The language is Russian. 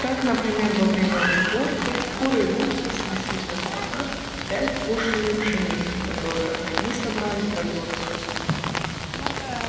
так например во время уборки куры и утки снесли в закрома пять бушелей пшеницы которую они собрали по зёрнышку